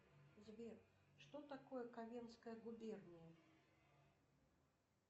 сбер что такое ковенская губерния